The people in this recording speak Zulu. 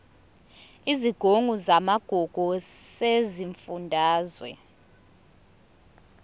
isigungu samagugu sesifundazwe